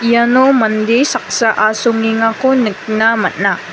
iano mande saksa asongengako nikna man·a.